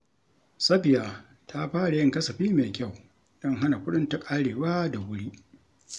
Safiya ta fara yin kasafi mai kyau don hana kuɗinta ƙarewa da wuri.